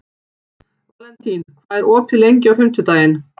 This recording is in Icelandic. Valentín, hvað er opið lengi á fimmtudaginn?